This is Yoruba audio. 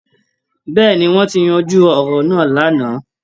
Bẹ́ẹ̀` ni, wọ́n ti yanjú ọ̀rọ̀ náà lánàá